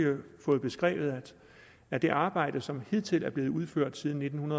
fået beskrevet af det arbejde som hidtil er blevet udført siden nitten